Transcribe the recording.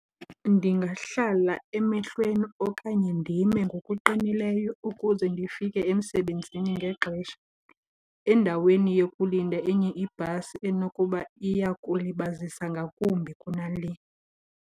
Ndingahlala emehlweni okanye ndime ngokuqinileyo ukuze ndifike emsebenzini ngexesha endaweni yokulinda enye ibhasi enokuba iya kulibazisa ngakumbi kunale.